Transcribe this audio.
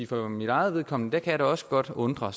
for mit eget vedkommende kan jeg da også godt undre